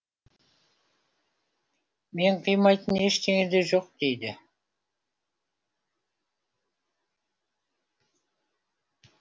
мен қимайтын ештеңе де жоқ дейді